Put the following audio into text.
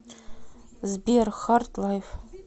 сбер хард лайф